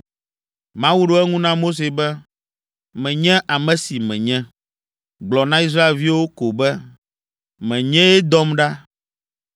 Mawu ɖo eŋu na Mose be, “Menye ame si Menye. Gblɔ na Israelviwo ko be, ‘Menyee dɔm ɖa.’ ”